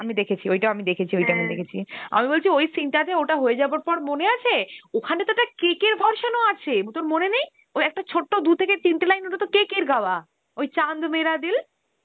আমি দেখেছি, ওইটাও আমি দেখেছি, ওটা আমি দেখেছি. আমি বলছি, ওই scene টাতে ওটা হয় যাবার পর, মনে আছে? ওখানেতো একটা KK র version ও আছে, তোর মনে নেই? ওই একটা ছোট দু থেকে তিনটে line, ওইটাত KK র গাওয়া, ওই Hindi